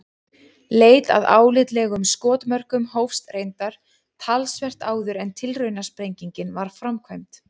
Leit að álitlegum skotmörkum hófst reyndar talsvert áður en tilraunasprengingin var framkvæmd.